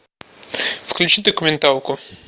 включи документалку